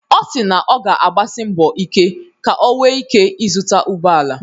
Ọ si na ọ ga-agbasi mbọ ike ka o nwee ike ịzụta ụgbọ ala.